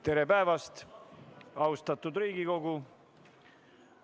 Tere päevast, austatud Riigikogu!